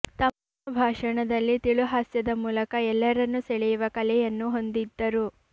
ತಮ್ಮ ಭಾಷಣದಲ್ಲಿ ತಿಳು ಹಾಸ್ಯದ ಮೂಲಕ ಎಲ್ಲರನ್ನೂ ಸೆಳೆಯುವ ಕಲೆಯನ್ನು ಹೊಂದಿದ್ದರು